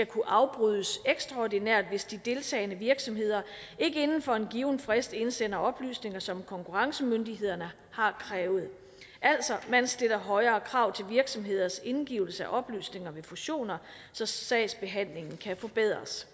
kunne afbrydes ekstraordinært hvis de deltagende virksomheder ikke inden for en given frist indsender oplysninger som konkurrencemyndighederne har krævet altså man stiller højere krav til virksomheders indgivelse af oplysninger ved fusioner så sagsbehandlingen kan forbedres